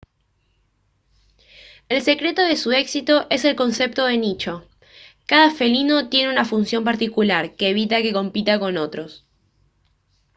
el secreto de su éxito es el concepto de nicho cada felino tiene una función particular que evita que compita con otros